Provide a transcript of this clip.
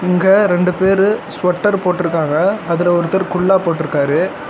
இங்க ரெண்டு பேரு ஸ்வெட்டர் போட்ருக்காங்க அதுல ஒருத்தர் குல்லா போட்ருக்காரு.